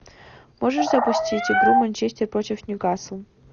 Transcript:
можешь запустить игру манчестер против ньюкасл